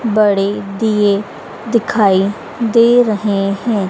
बड़े दिए दिखाई दे रहे हैं।